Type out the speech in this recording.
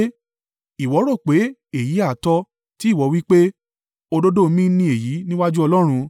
“Ìwọ rò pé èyí ha tọ́, tí ìwọ wí pé, òdodo mi ni èyí níwájú Ọlọ́run?